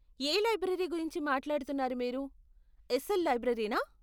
ఏ library గురించి మాట్లాడుతున్నారు మీరు, ఎస్ఎల్ లైబ్రరీనా?